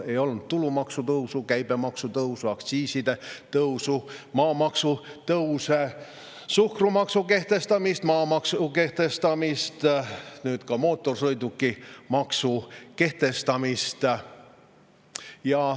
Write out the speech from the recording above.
Ei märgita tulumaksu tõusu, käibemaksu tõusu, aktsiiside tõusu, maamaksu tõuse, suhkrumaksu kehtestamist, maamaksu kehtestamist, nüüd ka mootorsõidukimaksu kehtestamist.